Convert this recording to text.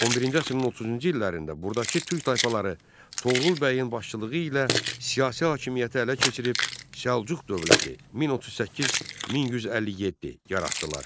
11-ci əsrin 30-cu illərində buradakı türk tayfaları Toğrul bəyin başçılığı ilə siyasi hakimiyyəti ələ keçirib Səlcuq dövləti 1038-1157 yaratdılar.